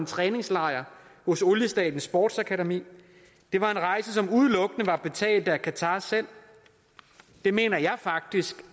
træningslejre hos oliestatens sportsakademi det var rejser som udelukkende var betalt af qatar selv det mener jeg faktisk